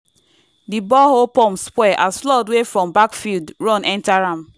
di borehole pump spoil as flood wey from backfield run enter am.